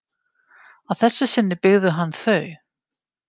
Að þessu sinni byggði hann þau.